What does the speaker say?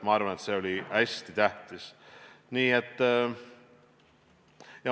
Ma arvan, et see oli hästi tähtis.